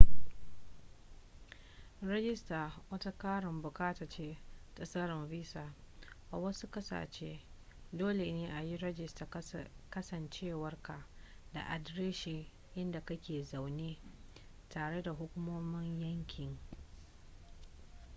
rajista wata ƙarin buƙata ce ta tsarin visa a wasu ƙasashe dole ne a yi rajistar kasancewarka da adireshin inda kake zaune tare da hukumomin yankin